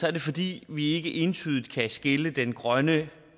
er det fordi vi ikke entydigt kan skille den grønne